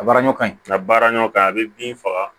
A baara ɲɔ ka ɲi a baara ɲɔgɔn kan a bɛ bin faga